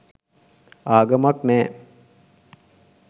ආගමක් නැහැ